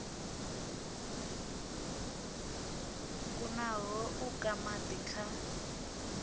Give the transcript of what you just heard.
kunaho u ka madi kha